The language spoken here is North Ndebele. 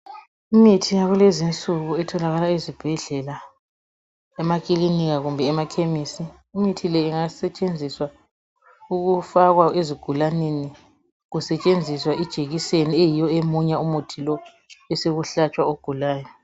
Imithi yakulezi nsuku etholakala ezibhedlela emakilinika kumbe emakhemisi imithi le ingasetshenziswa ukufakwa ezigulaneni kusetshenziswa ijekiseni eyiyo emunya umuthi lo besekuhlatshwa ogulayo.